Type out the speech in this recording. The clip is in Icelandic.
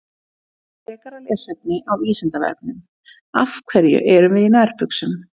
Frekara lesefni á Vísindavefnum: Af hverju erum við í nærbuxum?